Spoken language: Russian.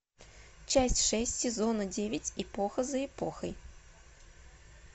часть шесть сезона девять эпоха за эпохой